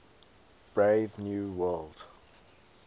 brave new world